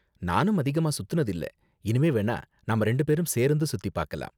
நானும் அதிகமா சுத்துனது இல்ல, இனிமே வேணா நாம ரெண்டும் பேரும் சேர்ந்து சுத்தி பார்க்கலாம்.